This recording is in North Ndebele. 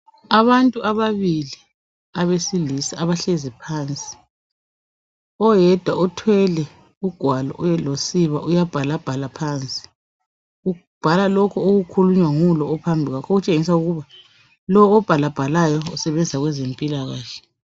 Abantu ababili abesilisa abahlezi phansi oyedwa uthwele ugwalo losiba uyabhala bhala phansi ubhala lokhu okukhulunywa ngulo ophambi kwakhe okutshengisa ukuba lo obhala bhalayo usebenza kwezempilakahle.